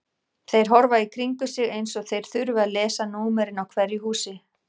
Þeir horfa í kringum sig eins og þeir þurfi að lesa númerin á hverju húsi.